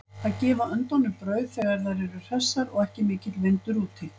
Að gefa öndunum brauð þegar þær eru hressar og ekki mikill vindur úti.